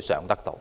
償得到。